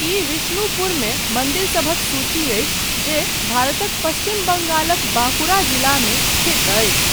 ई विष्णुपुरमे मन्दिरसभक सूची अछि जे भारतक पश्चिम बंगालक बांकुरा जिलामे स्थित अछि।